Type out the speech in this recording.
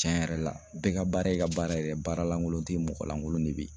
Tiɲɛ yɛrɛ la bɛɛ ka baara ye ka baara yɛrɛ ye baara lankolon tɛ yen mɔgɔ lankolon de bɛ yen